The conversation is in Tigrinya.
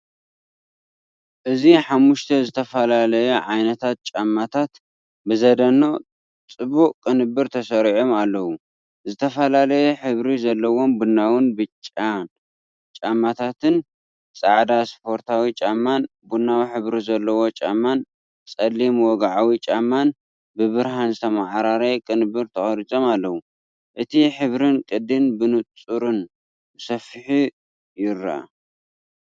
እዚ ሓሙሽተ ዝተፈላለዩ ዓይነታት ጫማታት ብዘደንቕ ጽቡቕ ቅንብር ተሰሪዖም ኣለዉ። ዝተፈላለየ ሕብሪ ዘለዎም ቡናውን ብጫን ጫማታት፡ጻዕዳ ስፖርታዊ ጫማ፡ ቡናዊ ሕብሪ ዘለዎ ጫማን ጸሊም ወግዓዊ ጫማን ብብርሃን ዝተመዓራረየ ቅንብር ተቐሪጾም ኣለዉ። እቲ ሕብርን ቅዲን ብንጹርን ብሰፊሑን ይርአ።